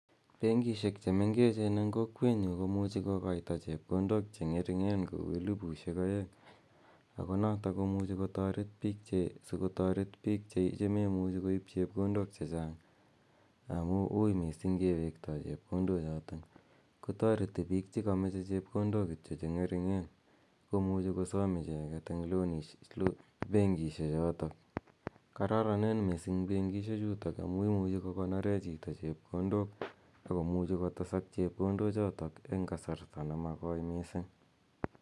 Benkishek che mengechen eng' kokwenyu komuchi kokaita chepkondok che ng'ering'en kou elipushek aeng' ako notok ko si komuchi kotaret piik che memuchi koip chepkondok che chang' amu ui missing' kiwektai chepkondochotok kotareti piik che kamache chepkondok kityo che ng'ering'en komuchi kosam icheget eng' penkishechotok. Kararanen missing' penkishechutok amu imuchi kokonore chito chepkondok ako muchi kotesak chepkondochotok eng' kasarta ne makoi missing'.